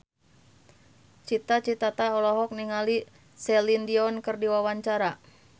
Cita Citata olohok ningali Celine Dion keur diwawancara